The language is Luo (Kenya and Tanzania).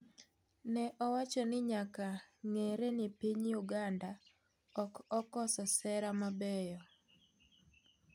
Ne owacho ni nyakang'eere ni piny Uganda ok okoso sera mabeyo.